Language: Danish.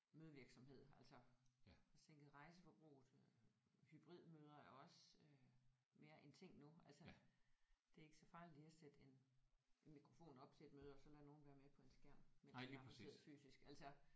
Mødevirksomhed altså sænket rejseforbruget øh hybridmøder er også øh mere en ting nu altså det er ikke så farligt lige at sætte en en mikrofon op til et møde og så lade nogen være med på en skærm mens de er andre sidder fysisk altså